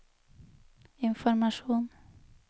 informasjon